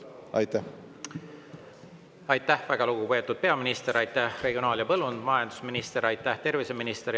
Aitäh, väga lugupeetud peaminister, aitäh, regionaal- ja põllumajandusminister, aitäh, terviseminister!